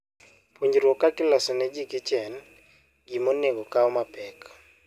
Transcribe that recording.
Puonjruok kaka iloso ne ji kichen gima onego okaw mapek.